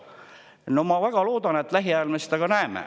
No ma väga loodan, et lähiajal me seda ka näeme.